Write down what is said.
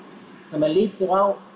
ef maður lítur á